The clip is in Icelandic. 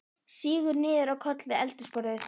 Sígur niður á koll við eldhúsborðið.